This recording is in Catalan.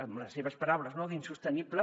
amb les seves paraules no d’ insostenible